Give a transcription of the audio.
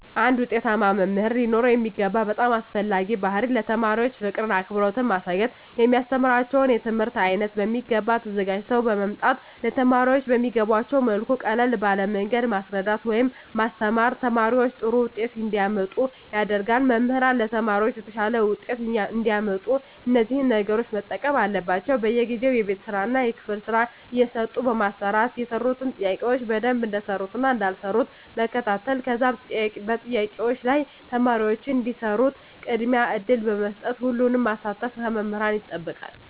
አንድ ዉጤታማ መምህር ሊኖረዉ የሚገባ በጣም አስፈላጊዉ ባህሪይ ለተማሪዎች ፍቅርን አክብሮትን ማሳየት የሚያስተምራቸዉን የትምህርት አይነት በሚገባ ተዘጋጅተዉ በመምጣት ለተማሪዎች በሚገቧቸዉ መልኩ ቀለል ባለ መንገድ ማስረዳት ወይም ማስተማር ተማሪዎች ጥሩ ዉጤት እንዲያመጡ ያደርጋል መምህራን ለተማሪዎች የተሻለ ዉጤት እንዲያመጡ እነዚህን ነገሮች መጠቀም አለባቸዉ በየጊዜዉ የቤት ስራእና የክፍል ስራ እየሰጡ በማሰራት የሰሩትን ጥያቄዎች በደንብ እንደሰሩትእና እንዳልሰሩት መከታተል ከዛም በጥያቄዎች ላይ ተማሪዎች እንዲሰሩት ቅድሚያ እድል በመስጠት ሁሉንም ማሳተፍ ከመምህራን ይጠበቃል